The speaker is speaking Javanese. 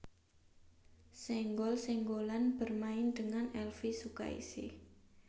Senggol Senggolan bermain dengan Elvy Sukaesih